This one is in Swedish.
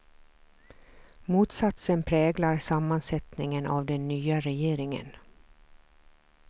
Motsatsen präglar sammansättningen av den nya regeringen.